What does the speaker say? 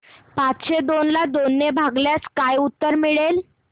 पाचशे दोन ला दोन ने भागल्यास काय उत्तर मिळेल